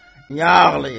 Nə ağlayır?